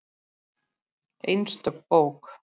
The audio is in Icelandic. Einstök bók.